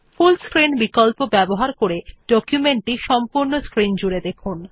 ফুল screen বিকল্প ব্যবহার করে ডকুমেন্টটি সম্পূর্ণ স্ক্রিন জুড়ে দেখুন